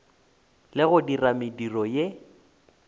le go dira mediro ye